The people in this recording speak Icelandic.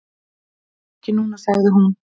"""Ekki núna, sagði hún."""